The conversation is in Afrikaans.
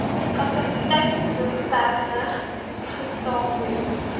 kapasiteitsbeperkinge gestaak moes